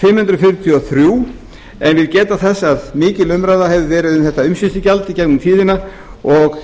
fimm hundruð fjörutíu og þrjú en vil geta þess að mikil umræða hefur verið um þetta umsýslugjald í gegnum tíðina og